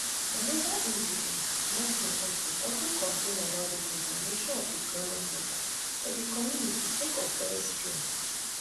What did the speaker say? anoda indigene martin otto also complain about di contamination of di ground water for di community sake of oil spill